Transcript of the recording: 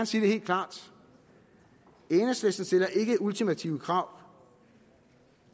sige det helt klart enhedslisten stiller ikke ultimative krav